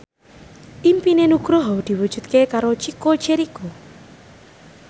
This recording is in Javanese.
impine Nugroho diwujudke karo Chico Jericho